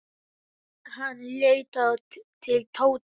Hann leit til Tóta.